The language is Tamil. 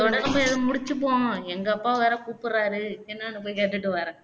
இதோட நம்ம இதை முடிச்சுப்போம் எங்க அப்பா வேற கூப்புடுறாரு என்னன்னு போய் கேட்டுட்டு வாறேன்